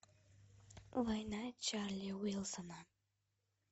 война чарли уилсона